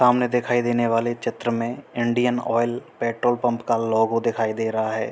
सामने दिखाई देने वाले चित्र मे इंडियन ऑइल पेट्रोल पंप का लोगो दिखाई दे रहा है।